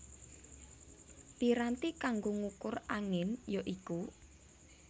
Piranti kanggo ngukur angin ya iku